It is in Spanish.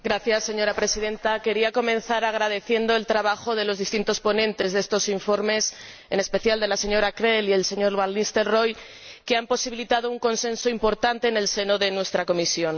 Señora Presidenta, quería comenzar agradeciendo el trabajo de los distintos ponentes de estos informes, en especial de la señora Krehl y del señor van Nistelrooij, que han posibilitado un consenso importante en el seno de nuestra comisión.